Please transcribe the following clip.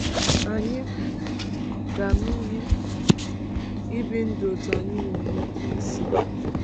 Anyị um ga-ama ihe um ibi ndụ otú anyị nwere ike isi.